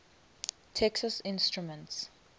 texas instruments